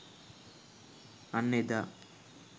අන්න එදා